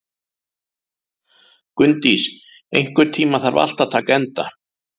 Gunndís, einhvern tímann þarf allt að taka enda.